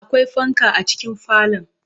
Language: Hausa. Akwai fanka a cikin falon.